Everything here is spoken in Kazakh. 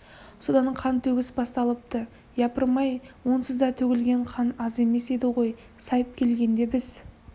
содан қан төгіс басталыпты япырмай онсыз да төгілген қан аз емес еді ғой сайып келгенде біз